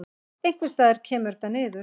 Einhvers staðar kemur þetta niður.